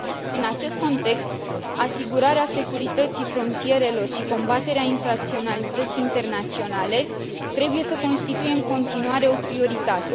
În acest context, asigurarea securității frontierelor și combaterea infracționalității internaționale trebuie să constituie în continuare o prioritate.